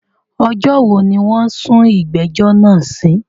Ọjọ́ wo ni wọ́n sún ìgbẹ́jọ́ náà sí?